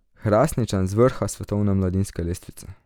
Hrastničan z vrha svetovne mladinske lestvice.